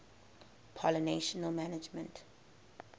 pollination management